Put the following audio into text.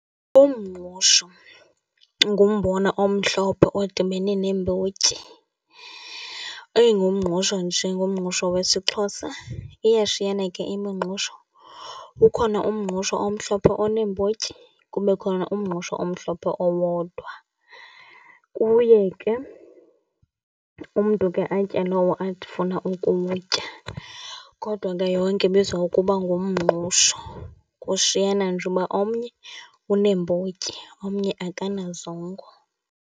Ummngqusho ngumbona omhlophe odibene neembotyi. Ingumngqusho nje, ngumngqusho wesiXhosa. Iyashiyana ke imingqusho. Kkhona umngqusho omhlophe oneembotyi, kube khona umngqusho omhlophe owodwa. Kuye ke umntu ke atye lowo ufuna ukutya, kodwa ke yonke ibizwa ngokuba ngumngqusho. Kushiyana nje uba omnye uneembotyi omnye akanazongo.